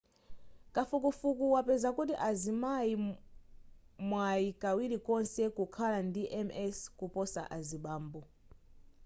kafukufuku wapeza kuti azimayi mwayi kawiri konse kukhala ndi ms kuposa azibambo